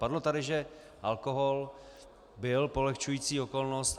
Padlo tady, že alkohol byl polehčující okolnost.